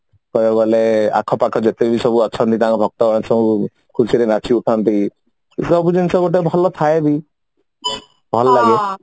ଆଖପାଖ ଯେତେବି ସବୁ ଅଛନ୍ତି ତାଙ୍କ ଭକ୍ତ ଅଛନ୍ତି ଖୁସିରେ ନାଚି ଉଠନ୍ତି ଏ ସବୁ ଜିନିଷ ଗୋଟେ ଭଲ ଥାଏ ବି ଭଲ ଲାଗେ